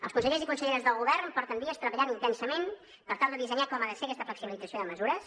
els consellers i conselleres del govern porten dies treballant intensament per tal de dissenyar com ha de ser aquesta flexibilització de mesures